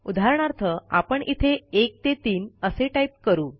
उदाहरणार्थ आपण इथे 1 3 असे टाईप करू